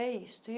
É isso.